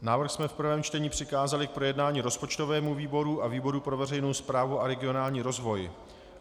Návrh jsme v prvém čtení přikázali k projednání rozpočtovému výboru a výboru pro veřejnou správu a regionální rozvoj.